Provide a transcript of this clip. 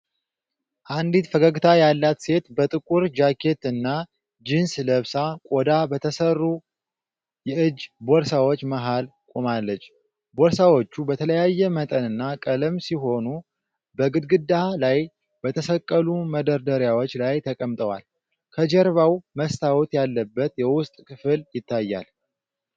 አንዲት ፈገግታ ያላት ሴት ጥቁር ጃኬት እና ጂንስ ለብሳ ቆዳ በተሰሩ የእጅ ቦርሳዎች መሃል ቆማለች። ቦርሳዎቹ በተለያየ መጠንና ቀለም ሲሆኑ በግድግዳ ላይ በተሰቀሉ መደርደሪያዎች ላይ ተቀምጠዋል። ከጀርባዋ መስታወት ያለበት የውስጥ ክፍል ይታያል።